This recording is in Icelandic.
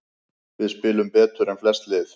Við spilum betur en flest lið